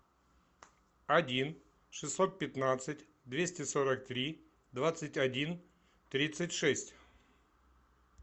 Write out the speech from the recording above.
один шестьсот пятнадцать двести сорок три двадцать один тридцать шесть